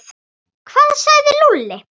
Hvað sagði Lúlli?